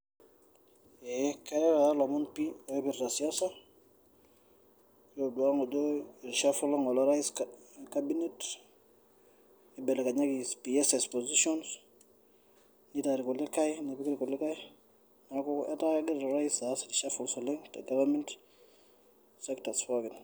Keatai ilomon pii oipirita siasa kitodua ng'ole, ishafola ng'ole orais cabinet neibelekenyaki piases position neitai ilkulikai, nepik ilkulikai, neaku etaa kegira orais aas reshuffle oleng tegavament, sectors pookin.